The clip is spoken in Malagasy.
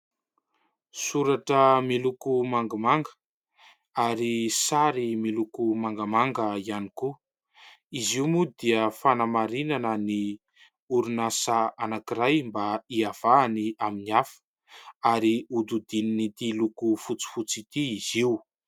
Soratra miloko mangamanga ary sary miloko mangamanga ihany koa. Izy io moa dia fanamarinana ny orinasa anankiray mba hiavahany amin'ny hafa ary hodidinin'ity loko fotsifotsy ity izy io.